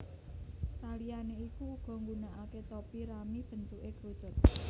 Saliyane iku uga nggunakake topi rami bentuke krucut